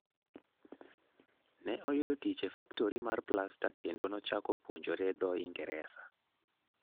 Ne oyudo tich e faktori mar plasta kendo nochako puonjore dho Ingresa.